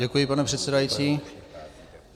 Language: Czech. Děkuji, pane předsedající.